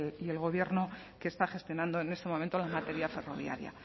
y el gobierno que está gestionando en este momento en materia ferroviaria